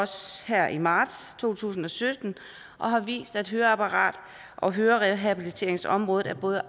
her i marts to tusind og sytten og har vist at høreapparat og hørerehabiliteringsområdet er både